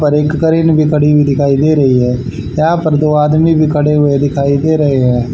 और एक क्रेन भी खड़ी हुई दिखाई दे रही है यहां पर दो आदमी भी खड़े हुए दिखाई दे रहे हैं।